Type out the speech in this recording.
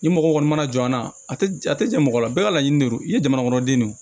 Ni mɔgɔ kɔni mana jɔ an na a tɛ a tɛ jan mɔgɔ la bɛɛ ka laɲini de don i ye jamanakɔnɔden de ye